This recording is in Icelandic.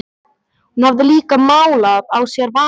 Hún hafði líka málað á sér varirnar.